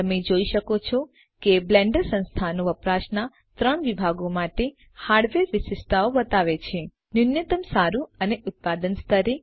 તમે જોઈ શકો છો કે બ્લેન્ડર સંસ્થાનો વપરાશના 3 વિભાગો માટે હાર્ડવેર વિશિષ્ટતાઓ બતાવે છે ન્યુનત્તમ સારું અને ઉત્પાદન સ્તરે